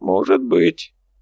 может быть